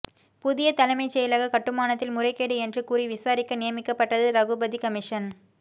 புதிய தலைமைச் செயலக கட்டுமானத்தில் முறைகேடு என்று கூறி விசாரிக்க நியமிக்கப்பட்டது ரகுபதி கமிஷன்